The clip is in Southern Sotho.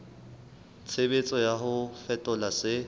tshebetso ya ho fetola se